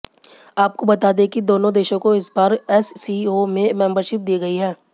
आपको बता दें कि दोनों देशों को इस बार एससीओ में मेंबरशिप दी गई है